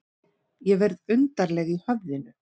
Ég verð undarleg í höfðinu.